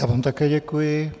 Já vám také děkuji.